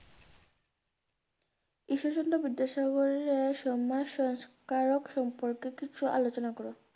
ঈশ্বরচন্দ্র বিদ্যাসাগরের আহ সন্নাস সংস্কারক সম্পর্কে কিছু আলোচনা করো?